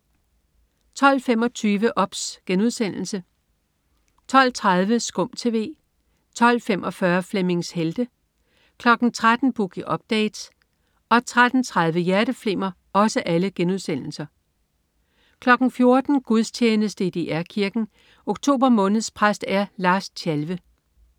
12.25 OBS* 12.30 SKUM TV* 12.45 Flemmings Helte* 13.00 Boogie Update* 13.30 Hjerteflimmer* 14.00 Gudstjeneste i DR Kirken. Oktober måneds præst er Lars Tjalve